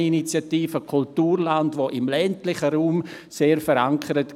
Gerade diese Initiative war im ländlichen Raum sehr verankert.